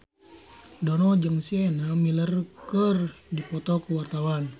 Dono jeung Sienna Miller keur dipoto ku wartawan